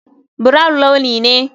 Brown launi ne.